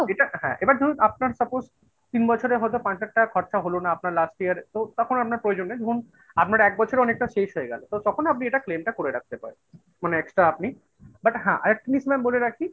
এটা হ্যাঁ এবার ধরুন আপনার suppose তিন বছরে হয়তো পাঁচ লাখ টাকা খরচা হলো না আপনার last year তো তখন আপনার প্রয়োজন নেই ধরুন আপনার এক বছরে অনেকটা শেষ হয়ে গেলো, তো তখন আপনি এটা claim টা করে রাখতে পারেন মানে extra আপনি but হ্যাঁ আরেকটা জিনিস mam বলে রাখি